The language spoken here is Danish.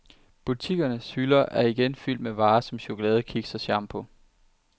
Butikkernes hylder er igen fyldt med varer som chokolade, kiks og shampoo.